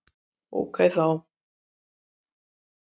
Ókei þá!